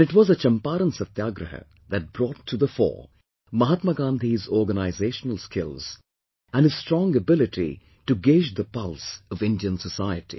And it was the Champaran Satyagraha that brought to the fore, Mahatma Gandhi's organisational skills, and his strong ability to gauge the pulse of Indian society